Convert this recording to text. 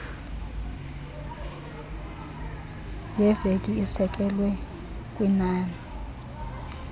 yeveki isekelwe kwinani